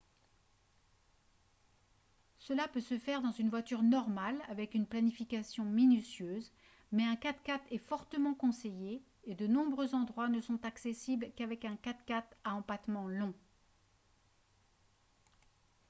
cela peut se faire dans une voiture normale avec une planification minutieuse mais un 4x4 est fortement conseillé et de nombreux endroits ne sont accessibles qu'avec un 4x4 à empattement long